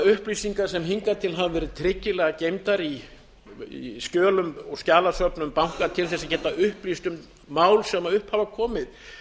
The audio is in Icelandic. upplýsinga sem hingað til hafa verið tryggilega geymdar í skjölum og skjalasöfnum banka til að geta upplýst um mál sem upp hafa komið